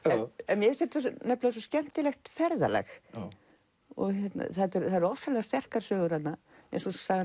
mér finnst þetta svo skemmtilegt ferðalag það eru ofsalega sterkar sögur þarna eins og sagan